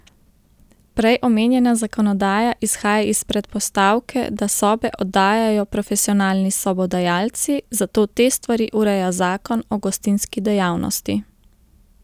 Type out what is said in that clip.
Prej omenjena zakonodaja izhaja iz predpostavke, da sobe oddajajo profesionalni sobodajalci, zato te stvari ureja zakon o gostinski dejavnosti.